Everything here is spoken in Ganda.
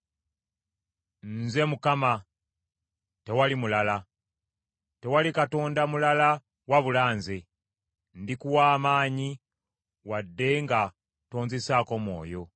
Nze Mukama , tewali mulala. Tewali katonda mulala wabula nze. Ndikuwa amaanyi wadde nga tonzisaako mwoyo,